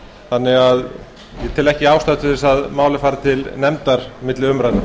þannig að ég tel ekki ástæðu til að málið fari til nefndar milli umræðna